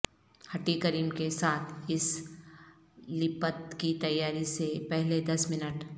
ھٹی cream کے ساتھ اس لیپت کی تیاری سے پہلے دس منٹ